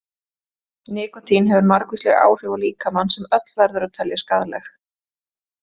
Nikótín hefur margvísleg áhrif á líkamann sem öll verður að telja skaðleg.